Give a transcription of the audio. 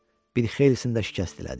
Bir xeylisini də şikəst elədik.